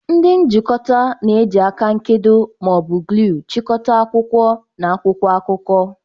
Ndi njikota na-eji aka nkedo ma ọ bụ gluu chịkọta akwụkwọ na akwụkwọ akụkọ.